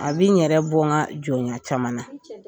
A bɛ n yɛrɛ bɔ n ka jɔnya caman na